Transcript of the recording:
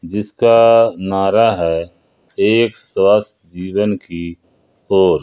जिसका नारा है एक स्वास्थ्य जीवन की ओर।